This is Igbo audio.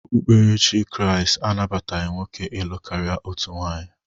Okpukperechi Kriisti anabataghị nwoke ịlụ karịa otu nwunye